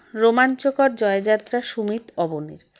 রোমাঞ্চকর জয়যাত্রা সুমিত অবনের